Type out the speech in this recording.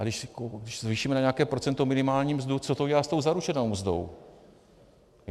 A když zvýšíme na nějaké procento minimální mzdu, co to udělá s tou zaručenou mzdou?